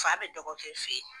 Fa bɛ dɔgɔkɛ fɛ ye.